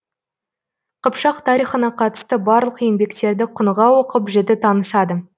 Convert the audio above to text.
қыпшақ тарихына қатысты барлық еңбектерді құныға оқып жіті танысады